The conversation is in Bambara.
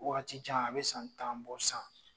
Wagati jan a bi san tan bɔ sisan